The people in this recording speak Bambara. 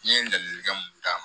N ye ladilikan mun d'a ma